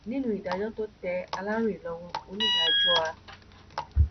nínú ìdájọ tó tẹ aláròyé lọwọ onídàájọ a